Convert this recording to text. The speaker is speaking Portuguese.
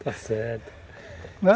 Está certo, né?!